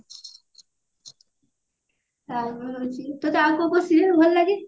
ରହୁଛି ତୋତେ ଆଉ କଉ କଉ serial ଭଲ ଲାଗେ?